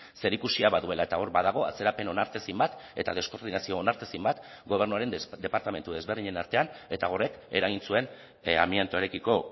zerikusia baduela eta hor badago atzerapen onartezin bat eta deskoordinazio onartezin bat gobernuaren departamentu desberdinen artean eta horrek eragin zuen amiantoarekiko